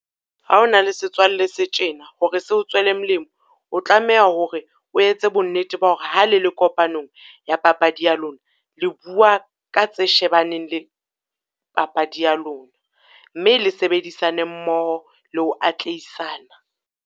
Ha ona le setswalle se tjena, hore seo tswele molemo. O tlameha hore o etse bonnete ba hore ha le le kopanong ya papadi ya lona, le bua ka tse shebaneng le papadi ya lona, mme le sebedisane mmoho le ho atlehisana.